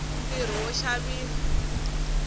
ntirho wo xaviwa